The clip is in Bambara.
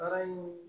Baara in